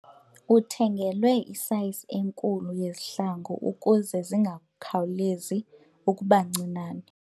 Uthengelwe isayizi enkulu yezihlangu ukuze zingakhawulezi ukuba ncinane.